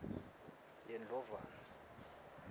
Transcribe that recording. yendlovana